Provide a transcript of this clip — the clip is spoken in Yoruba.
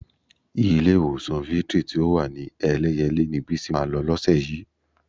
Ilé-ìwòsàn Victory tí ó wà ní Ẹlẹ́yẹlé ni Bísí máa lọ lọ́sẹ̀ yìí.